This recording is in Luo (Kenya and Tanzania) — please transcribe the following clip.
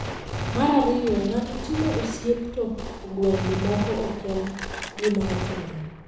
Mar ariyo, ng’ato timo osiep to e gwenge moko ok en gima ochuno.